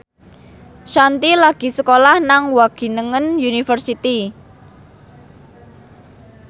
Shanti lagi sekolah nang Wageningen University